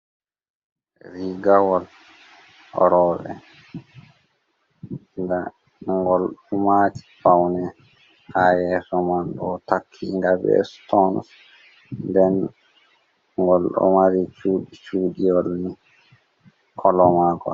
Rigawol rowbe golɗo maaji paune. Ha yeso man ɗo takki ga be sitons. Nɗen gol ɗo mari cudiwol ni kolomagol.